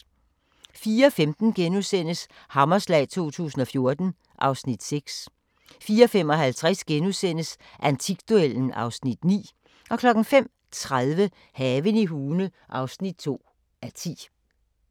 04:15: Hammerslag 2014 (Afs. 6)* 04:55: Antikduellen (Afs. 9)* 05:30: Haven i Hune (2:10)